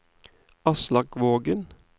Aslak Vågen